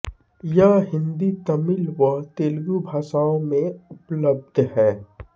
यह हिंदी तमिल व तेलुगु भाषाओं में उपलब्ध है